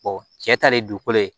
cɛ ta de dugukolo ye